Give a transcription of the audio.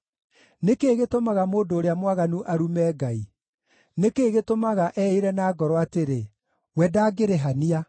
Nĩ kĩĩ gĩtũmaga mũndũ ũrĩa mwaganu arume Ngai? Nĩ kĩĩ gĩtũmaga eĩĩre na ngoro atĩrĩ, “We ndangĩrĩhania?”